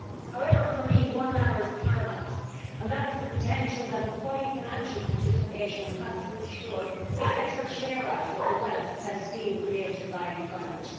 However, for me one matter is paramount, and that is the potential that employee financial participation has to ensure a better share out of the wealth that is being created by employment.